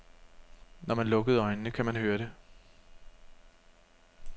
Når man lukkede øjnene, kan man høre det.